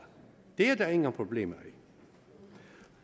det er der ingen problemer i